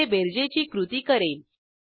हे बरेजेची कृती करेल